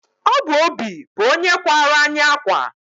obụ obi bụ onye kwàrá anyị akwa